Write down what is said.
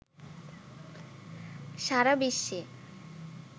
সারা বিশ্বে